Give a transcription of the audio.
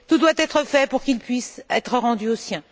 Tout doit être fait pour qu'il puisse être rendu aux siens.